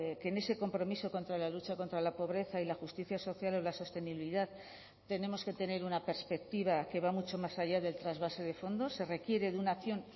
que en ese compromiso contra la lucha contra la pobreza y la justicia social o la sostenibilidad tenemos que tener una perspectiva que va mucho más allá del trasvase de fondos se requiere de una acción